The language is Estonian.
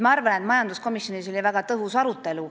Ma arvan, et majanduskomisjonis oli väga tõhus arutelu.